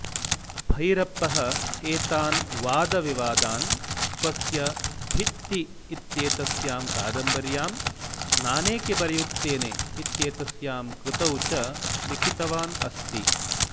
भैरप्पः एतान् वादविवादान् स्वस्य भित्ति इत्येतस्यां कादम्बर्यां नानेके बरेयुत्तेने इत्येतस्यां कृतौ च लिखितवान् अस्ति